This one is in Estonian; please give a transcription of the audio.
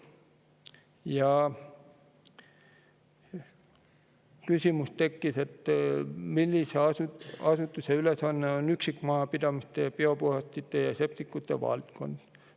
Tekkis küsimus, millise asutuse ülesanne on üksikmajapidamiste biopuhastite ja septikute valdkond.